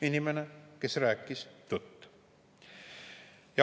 Inimene, kes rääkis tõtt.